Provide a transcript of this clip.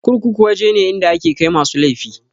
Kurkuku waje ne inda ake kai masu laifi.